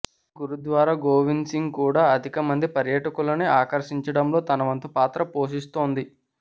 గురుద్వారా గోవింద్ సింగ్ కూడా అధిక మంది పర్యాటకులని ఆకర్షించడంలో తన వంతు పాత్ర పోషిస్తోంది